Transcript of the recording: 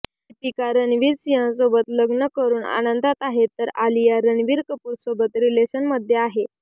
दीपिका रणवीर सिंहसोबत लग्न करून आनंदात आहे तर आलिया रणबीर कपूरसोबत रिलेशनमध्ये आहे